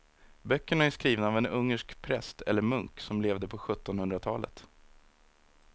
Böckerna är skrivna av en ungersk präst eller munk som levde på sjuttonhundratalet.